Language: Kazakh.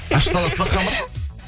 ашыта аласыз ба қамыр